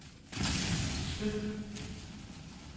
skyd